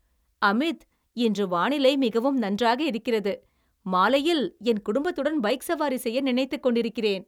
அமித், இன்று வானிலை மிகவும் நன்றாக இருக்கிறது. மாலையில் என் குடும்பத்துடன் பைக் சவாரி செய்ய நினைத்துக் கொண்டிருக்கிறேன்.